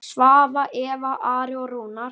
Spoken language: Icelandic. Svava, Eva, Ari og Rúnar.